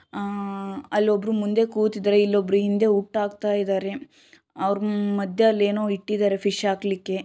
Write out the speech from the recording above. ಆ ಅಲ್ ಒಬ್ಬರೂ ಮುಂದೆ ಕೂತಿದ್ದಾರೆ ಇಲ್ ಒಬ್ಬರು ಹಿಂದೆ ಹುಟ್ಟ್ ಹಾಕ್ತಾ ಇದ್ದಾರೆ ಅವ್ರ್ ಮದ್ಯ ಏನೋ ಇಟ್ಟಿದ್ದಾರೆ ಫಿಶ್ ಹಾಕ್ಲಿಕ್ಕೆ--